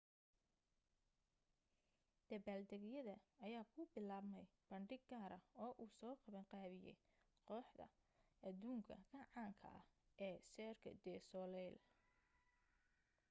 dabbaaldegyada ayaa ku bilaabmay bandhig gaara oo uu soo qaban qaabiyay kooxda adduunka ka caanka ah ee cirque du soleil